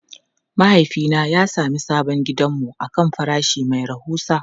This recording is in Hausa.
Mahaifina ya sami sabon gidanmu akan farashi mai rahusa.